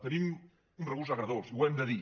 tenim un regust agredolç i ho hem de dir